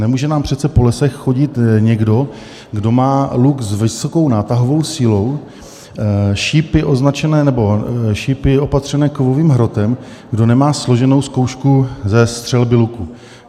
Nemůže nám přece po lesích chodit někdo, kdo má luk s vysokou nátahovou silou, šípy opatřené kovovým hrotem, kdo nemá složenou zkoušku ze střelby lukem.